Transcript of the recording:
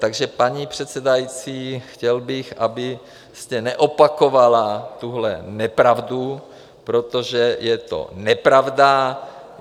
Takže paní předsedající, chtěl bych, abyste neopakovala tuhle nepravdu, protože je to nepravda.